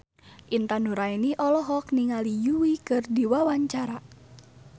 Intan Nuraini olohok ningali Yui keur diwawancara